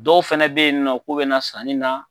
Dɔw fɛnɛ be yen nɔ, k'u bina na sanni na